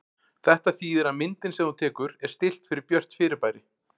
Þetta þýðir að myndin sem þú tekur er stillt fyrir björt fyrirbæri.